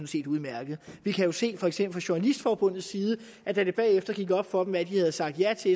set udmærket vi kan jo se for eksempel journalistforbunds side at da det bagefter gik op for dem hvad de havde sagt ja til